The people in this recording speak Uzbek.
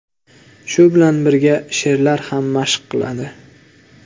Shu bilan birga she’rlar ham mashq qiladi.